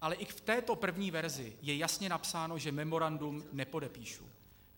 Ale i v této první verzi je jasně napsáno, že memorandum nepodepíšu.